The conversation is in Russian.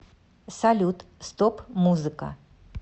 салют стоп музыка